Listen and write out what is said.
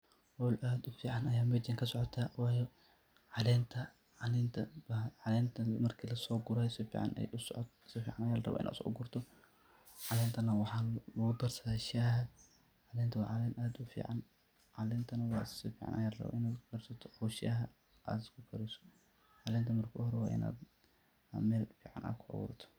Howl aad u fican ayaa mejan kasocota , wayo calenta marka laso guraa si fican aya laraba inaad uso gurto ,calentana waxaa lagu darsadaa shaxaa , calenta waa calen aad u fican, calentana waa si fican ayaa larabaa ina u ugu karsato oo shaxa aad kukariso, calenta marki ugu horeba waa inaad mel fican aad kuaburto.